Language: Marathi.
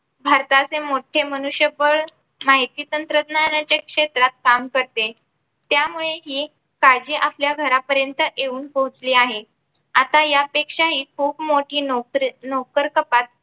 भारताचे मोठे मनुष्यबळ माहिती तंत्रज्ञानाच्या क्षेत्रात काम करते. त्यामुळे हि काळजी आपल्या घरापर्यंत येऊन पोहोचली आहे. आता या पेक्षा हि खूप मोठी नोकरी नोकर कपात.